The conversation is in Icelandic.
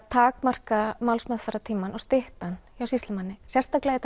takmarka málsferðartímann og stytta hann hjá sýslumanni sérstaklega í